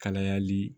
Kalayali